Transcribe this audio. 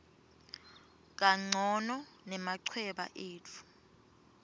kancono nemachweba etfu